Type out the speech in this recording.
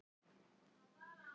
Svo flýttu krakkarnir sér heim.